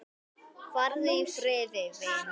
Farðu í friði, vinur.